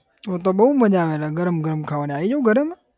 તો તો બહુ મજા આવે ગરમ ગરમ ખાવાની આઈ જઉં ઘરે હમણાં.